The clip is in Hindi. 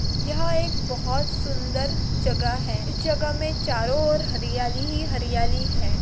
यह एक बहुत सुंदर जगह है इस जगह में चारो ओर हरियाली ही हरियाली है।